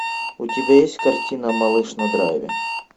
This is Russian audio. у тебя есть картина малыш на драйве